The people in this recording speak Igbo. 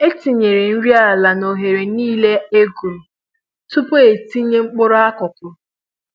E tinyere nri ala n'oghere niile e guru tupu e tinye mkpụrụ akụkụ